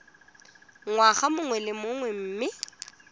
ngwaga mongwe le mongwe mme